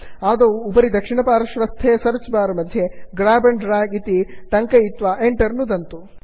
आदौ उपरि दक्षिणपार्श्वस्थे सर्च् बार् मध्ये grab and drag grab and drag इति टङ्कयित्वा Enter नुदन्तु